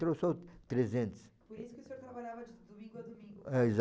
trezentos. Por isso que o senhor trabalhava de domingo a domingo. É, exato.